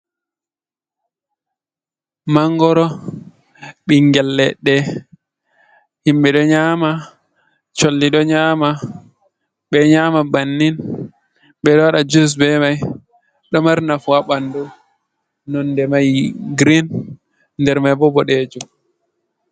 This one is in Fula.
Mangoro ɓingel leɗɗe himɓe ɗo nyama, colli do nyama, ɓeɗo nyama bannin, ɓe ɗo waɗa jus be mai, ɗo mari nafu haɓandu nonde mai girin nder mai bo boɗejum.